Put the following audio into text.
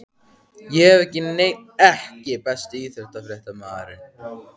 Ég hef ekki neinn EKKI besti íþróttafréttamaðurinn?